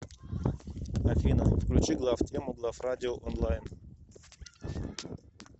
афина включи главтему главрадио онлайн